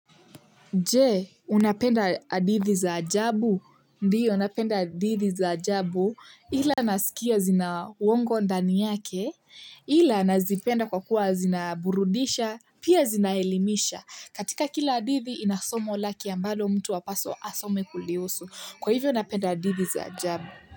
Je, unapenda hadithi za ajabu. Ndiyo napenda adithi za ajabu ila nasikia zina uwongo ndani yake ila nazipenda kwa kuwa zinaburudisha pia zinaelimisha. Katika kila adithi ina somo lake ambalo mtu apaswa asome kulihusu. Kwa hivyo unapenda adithi za ajabu.